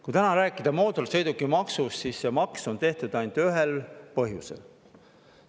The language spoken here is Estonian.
Kui täna rääkida mootorsõidukimaksust, siis saab öelda, et see maks on tehtud ainult ühel põhjusel.